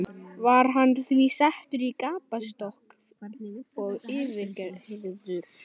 Var hann því settur í gapastokk og yfirheyrður.